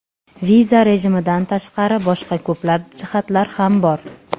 Viza rejimidan tashqari, boshqa ko‘plab jihatlar ham bor.